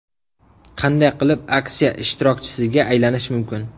Qanday qilib aksiya ishtirokchisiga aylanish mumkin?